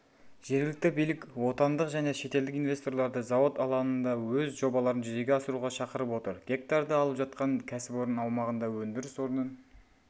жергілікті билік отандық және шетелдік инвесторларды зауыт алаңында өз жобаларын жүзеге асыруға шақырып отыр гектарды алып жатқан кәсіпорын аумағында өндіріс орнын